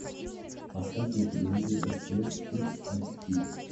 поставь на телевизоре стс кидс а четыре